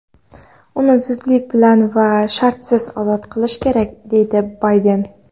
Uni zudlik bilan va shartsiz ozod qilish kerak deydi Bayden.